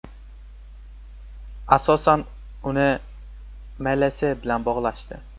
Asosan, uni MLS bilan bog‘lashdi.